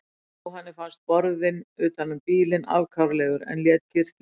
Jóhanni fannst borðinn utan um bílinn afkáralegur en lét kyrrt liggja.